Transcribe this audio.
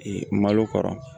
malo kɔrɔ